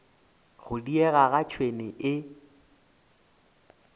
go diega ga tšhwene e